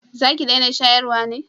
za ki dena shayarwa ne?